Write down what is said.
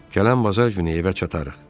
Gələn bazar günü evə çatarıq.